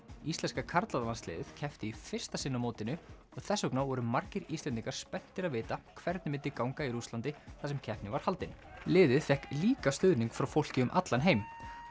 íslenska karlalandsliðið keppti í fyrsta sinn á mótinu og þess vegna voru margir Íslendingar spenntir að vita hvernig myndi ganga í Rússlandi þar sem keppnin var haldin liðið fékk líka stuðning frá fólki um allan heim